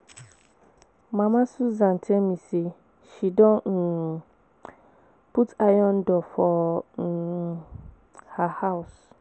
Mama Susan tell me say she don um put iron door for um her house